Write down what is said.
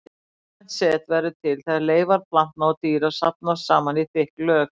Lífrænt set verður til þegar leifar plantna og dýra safnast saman í þykk lög.